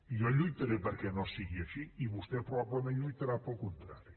jo lluitaré perquè no sigui així i vostè probablement lluitarà pel contrari